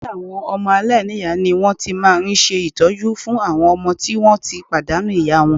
Ilé àwọn ọmọ aláìníyàá ni wọ́n ti máa ń ṣe ìtọ́jú fún àwọn ọmọ tí wọ́n ti pàdánù ìyá wọn